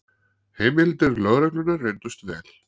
Heimildir lögreglunnar reyndust vel